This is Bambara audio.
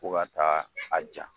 Fo ka taa a ja.